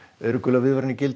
eru gular viðvaranir í gildi